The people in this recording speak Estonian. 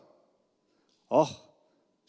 Ah!